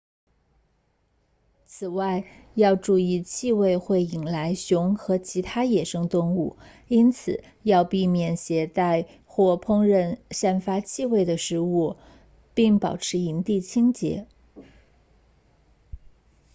此外要注意气味会引来熊和其他野生动物因此要避免携带或烹饪散发气味的食物并保持营地清洁